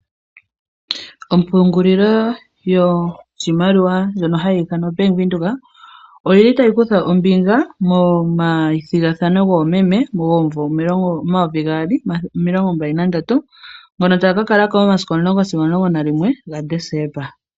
Ompungulilo yoshimaliwa ndyono hayi ithanwa oBank Windhoek oyili tayi kutha ombinga momathigathano goomeme gomumvo omathele gaali nomilongo mbali na ndatu ngono taga ka kalako momasiku omulongo sigo omulongo nalimwe gaDesemba.